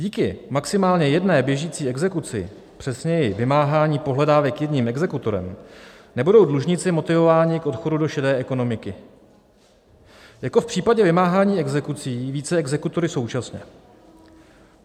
Díky maximálně jedné běžící exekuci, přesněji vymáhání pohledávek jedním exekutorem, nebudou dlužníci motivováni k odchodu do šedé ekonomiky jako v případě vymáhání exekucí více exekutory současně.